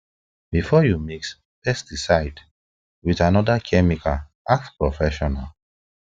before you mix pesticide with another chemical ask professional